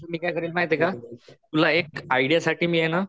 मी काय करील माहिते का?तुला एक आयडिया साठी मी आहे ना